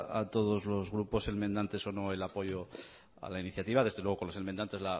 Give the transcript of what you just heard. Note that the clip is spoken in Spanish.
a todos los grupos enmendantes o no el apoyo a la iniciativa desde luego con los enmendantes